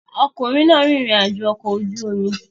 Ọkùnrin náà rìnrìn àjò ọkọ̀ ojú omi